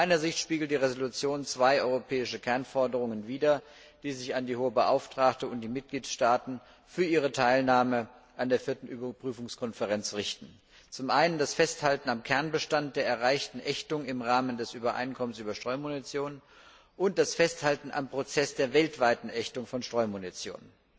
Aus meiner Sicht spiegelt die Entschließung zwei europäische Kernforderungen wieder, die sich an die Hohe Beauftragte und die Mitgliedstaaten für ihre Teilnahme an der Vierten Überprüfungskonferenz richten das Festhalten am Kernbestand der erreichten Ächtung im Rahmen des Übereinkommens über Streumunition und das Festhalten an der weltweiten Ächtung von Streumunition.